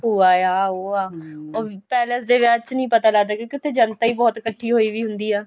ਭੂਆ ਆ ਉਹ ਆ palace ਦੇ ਵਿਆਹ ਚ ਨਹੀਂ ਪਤਾ ਲੱਗਦਾ ਕਿਉਂਕਿ ਉੱਥੇ ਜਨਤਾ ਹੀ ਬਹੁਤ ਇੱਕਠੀ ਹੋਈ ਵੀ ਹੁੰਦੀ ਆ